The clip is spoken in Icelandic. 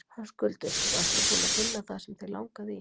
Höskuldur: Og ertu búinn að finna það sem þig langaði í?